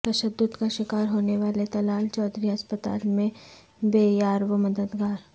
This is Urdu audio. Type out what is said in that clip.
تشدد کا شکار ہونے والے طلال چودھری ہسپتال میں بے یار و مددگار